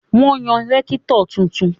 Wọ́n yan rẹ́kítọ̀ tuntun